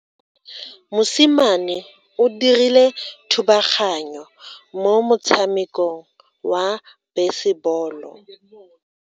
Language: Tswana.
Mosimane o dirile thubaganyo mo motshamekong wa basebolo.